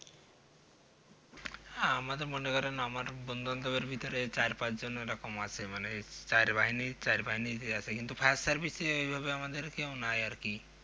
হ্যাঁ আমার তো মনে করেন আমার বন্ধুবান্ধবের ভেতরে চার পাঁচ জন এরকম আছে মানে চার বাহিনী চার বাহিনী তেই আছে কিন্তু fire service এ ঐভাবে কেউ নেই আর কি